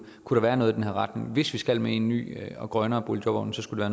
kunne være noget i den her retning hvis vi skal med i en ny og grønnere boligjobordning skulle